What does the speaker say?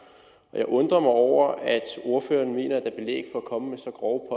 jeg undrer over at ordføreren mener at komme med så grove